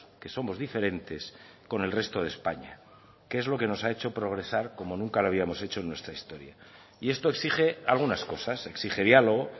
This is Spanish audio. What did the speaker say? que somos diferentes con el resto de españa que es lo que nos ha hecho progresar como nunca lo habíamos hecho en nuestra historia y esto exige algunas cosas exige diálogo